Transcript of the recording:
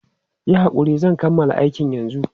Yi hakuri, zan kammala aikin yanzu.